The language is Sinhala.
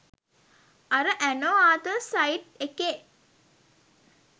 අර ඇනෝ ආතල් සයිට් එකේ